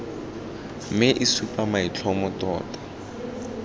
mme e supa maitlhomo tota